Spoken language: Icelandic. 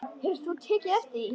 Hefur þú tekið eftir því?